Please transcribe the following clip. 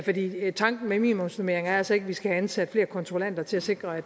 fordi tanken med minimumsnormeringer er altså ikke at vi skal have ansat flere kontrollanter til at sikre